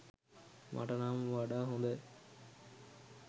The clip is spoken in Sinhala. මට නම් වඩා හොඳයි.